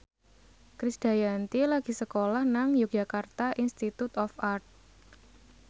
Krisdayanti lagi sekolah nang Yogyakarta Institute of Art